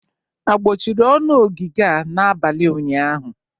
Agbọchịrị ọnụ ogige a n'abalị ụnyaahụ?